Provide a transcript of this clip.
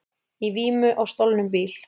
Í vímu á stolnum bíl